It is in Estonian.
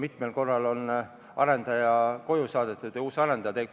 Mitmel korral on arendaja koju saadetud ja uus arendaja tulnud.